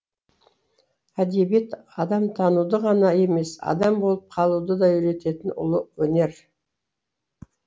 әдебиет адамтануды ғана емес адам болып қалуды да үйрететін ұлы өнер